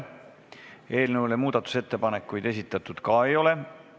Eelnõu kohta muudatusettepanekuid esitatud ka ei ole.